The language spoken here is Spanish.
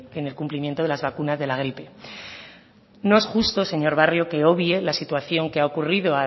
de cumplimiento de las vacunas de la gripe no es justo señor barrio que obvien la situación que ha ocurrido